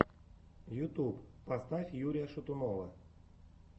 ютьюб поставь юрия шатунова